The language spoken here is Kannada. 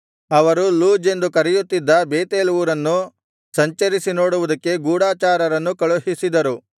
ಅವರು ಲೂಜ್ ಎಂದು ಕರೆಯುತ್ತಿದ್ದ ಬೇತೇಲ್ ಊರನ್ನು ಸಂಚರಿಸಿ ನೋಡುವುದಕ್ಕೆ ಗೂಢಚಾರರನ್ನು ಕಳುಹಿಸಿದರು